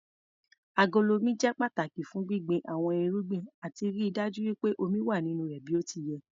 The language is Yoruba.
Agolo Omi jẹ́ pàtàki fún gbíngbin àwọn irúgbìn àti ríi dájú pé omi wà nínú rẹ̀ bí ó ti yẹ.